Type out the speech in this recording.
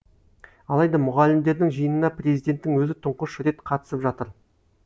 алайда мұғалімдердің жиынына президенттің өзі тұңғыш рет қатысып жатыр